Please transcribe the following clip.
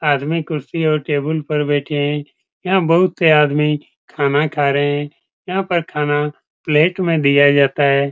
आदमी कुर्सी और टेबुल पर बैठे हैं यहां बहुत से आदमी खाना खा रहे हैं यहां पर खाना प्लेट में दिया जाता है।